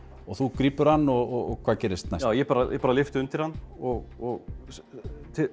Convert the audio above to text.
og þú grípur hann og hvað gerist næst ég bara ég bara lyfti undir hann og